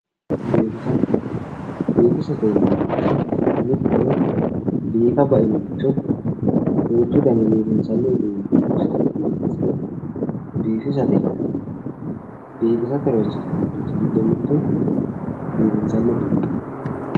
Biifisa biifisate yineemmorichi mittore biifa bainoricho duuchu daninni biifinsanni babbaxino uduunne horoonsi'ne biifinsiro biifisate yinanni biifisate horoonsi'nanniri giddo mittu biifinsanni uduunnichooti